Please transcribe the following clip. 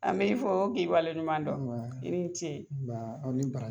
An b'i fɔ k'i waleɲuman dɔn, n ba. I ni ce. N ba , aw ni bara